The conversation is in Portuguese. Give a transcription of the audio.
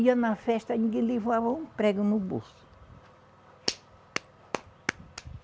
Ia na festa, ninguém levava um prego no bolso.